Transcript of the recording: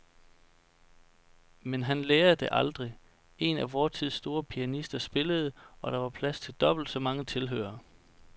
Men han lærer det aldrig. En af vor tids store pianister spillede, og der var plads til dobbelt så mange tilhørere.